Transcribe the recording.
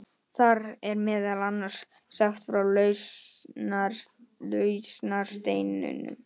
Þar er meðal annars sagt frá lausnarsteininum.